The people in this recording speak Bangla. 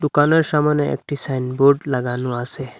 দোকানের সামোনে একটি সাইনবোর্ড লাগানো আসে।